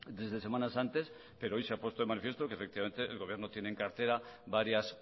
desde semanas antes pero hoy se ha puesto de manifiesto que el gobierno tiene en cartera varias